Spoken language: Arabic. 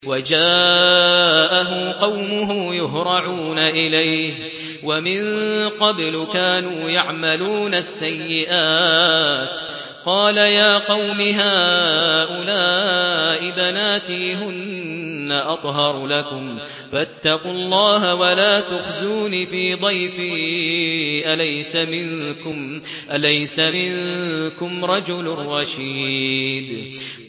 وَجَاءَهُ قَوْمُهُ يُهْرَعُونَ إِلَيْهِ وَمِن قَبْلُ كَانُوا يَعْمَلُونَ السَّيِّئَاتِ ۚ قَالَ يَا قَوْمِ هَٰؤُلَاءِ بَنَاتِي هُنَّ أَطْهَرُ لَكُمْ ۖ فَاتَّقُوا اللَّهَ وَلَا تُخْزُونِ فِي ضَيْفِي ۖ أَلَيْسَ مِنكُمْ رَجُلٌ رَّشِيدٌ